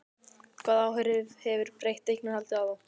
Hvaða áhrif hefur breytt eignarhald á þá?